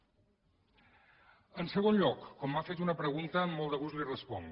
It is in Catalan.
en segon lloc com m’ha fet una pregunta amb molt de gust la hi responc